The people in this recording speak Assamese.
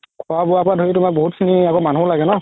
খুৱা বুৱা পৰা ধৰি বহুত খিনি আকৌ মানুহও লাগে ন